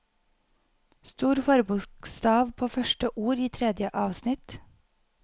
Stor forbokstav på første ord i tredje avsnitt